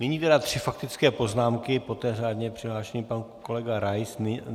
Nyní tedy tři faktické poznámky, poté řádně přihlášený pan kolega Rais.